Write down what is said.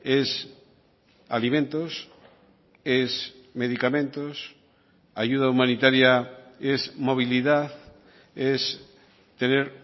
es alimentos es medicamentos ayuda humanitaria es movilidad es tener